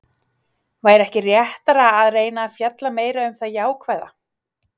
Væri ekki réttara að reyna að fjalla meira um það jákvæða?